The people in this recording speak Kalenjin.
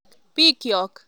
Bikyok.